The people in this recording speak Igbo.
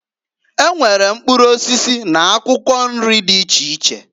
E nwere mkpụrụ osisi n'akwụkwọ nri dị iche iche.